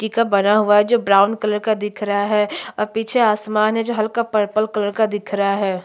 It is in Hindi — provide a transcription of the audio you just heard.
मिट्ठी का बना हुआ है जो ब्राउन कलर का दिख रा है और पीछे आसमान है जो हल्का पर्पल कलर का दिख रा हैं।